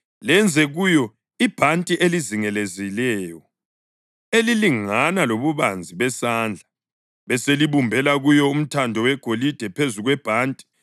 Lenze kuyo ibhanti eliyizingelezileyo, elilingana lobubanzi besandla, beselibumbela kuyo umthando wegolide phezu kwebhanti.